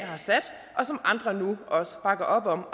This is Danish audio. har sat og som andre nu også bakker op om